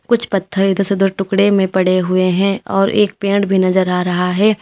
कुछ पत्थर इधर से उधर टुकड़े में पड़े हुए हैं और एक पेड़ भी नजर आ रहा है।